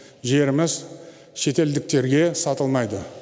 жеріміз шетелдіктерге сатылмайды